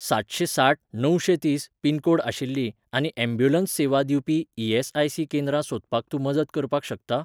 सातशेंसाठ णवशेंतीस पिनकोड आशिल्लीं आनी ॲम्ब्युलन्स सेवा दिवपी ई.एस.आय.सी. केंद्रां सोदपाक तूं मदत करपाक शकता?